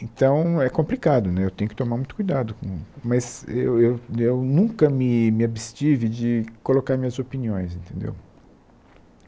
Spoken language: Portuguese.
Então, é complicado né, eu tenho que tomar muito cuidado com, mas eu eu eu nunca me me abstive de colocar minhas opiniões, entendeu?